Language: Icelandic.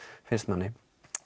finnst manni